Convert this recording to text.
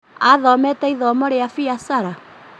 Athomete ithomo rĩa biacara?